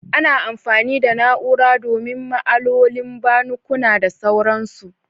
Ana amfani da na'ura domin ma'alolin banukuna da sauransu.